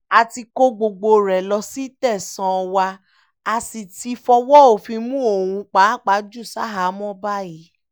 a ti kó gbogbo rẹ̀ lọ sí tẹ̀sán wa a sì ti fọwọ́ òfin mú òun pàápàá jù ṣahámọ́ báyìí